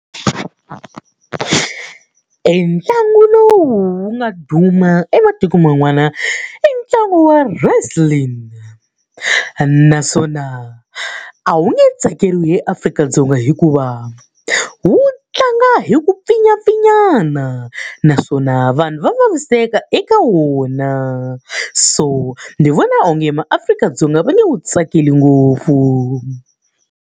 Entlangu lowu wu nga duma ematikweni man'wana i ntlangu wa wrestling. Naswona a wu nge tsakeriwi hi Afrika-Dzonga hikuva, wu tlanga hi ku pfinyapfinyana. Naswona vanhu va vaviseka eka wona, so ndzi vona onge maAfrika-Dzonga va nge wu tsakeli ngopfu.